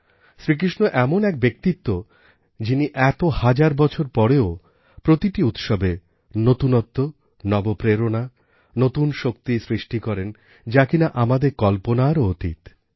শ্রীকৃষ্ণ এমন এক ব্যক্তিত্ব যিনি এত হাজার বছর পরেও প্রতিটি উৎসবে নূতনত্ব নব প্রেরণা নূতন শক্তি সৃষ্টি করেন যা কিনা আমাদের কল্পনারও অতীত